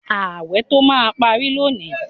Ààwẹ̀ tó máa pari lónìí